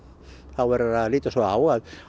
þá verður að líta svo á að